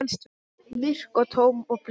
Myrk og tóm og blind.